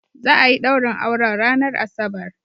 Za'ayi ɗaurin auren ranar asabar